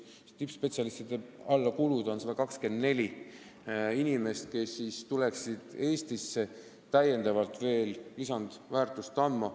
Me ise arvame, et see number võiks olla 124, nii palju tippspetsialiste võiks tulla Eestisse lisandväärtust looma.